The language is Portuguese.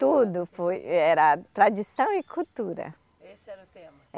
Tudo foi, era tradição e cultura. Esse era o tema?